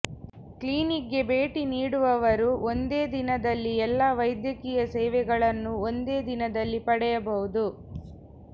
ಕ್ಲಿನಿಕ್ಗೆ ಭೇಟಿ ನೀಡುವವರು ಒಂದೇ ದಿನದಲ್ಲಿ ಎಲ್ಲಾ ವೈದ್ಯಕೀಯ ಸೇವೆಗಳನ್ನು ಒಂದೇ ದಿನದಲ್ಲಿ ಪಡೆಯಬಹುದು